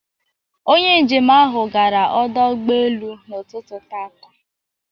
Onye njem ahụ gara ọdọ ụgbọelu n'ụtụtụ taata